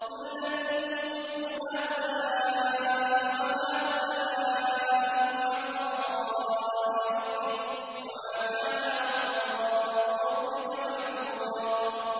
كُلًّا نُّمِدُّ هَٰؤُلَاءِ وَهَٰؤُلَاءِ مِنْ عَطَاءِ رَبِّكَ ۚ وَمَا كَانَ عَطَاءُ رَبِّكَ مَحْظُورًا